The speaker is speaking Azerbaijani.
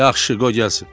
Yaxşı, qoy gəlsin.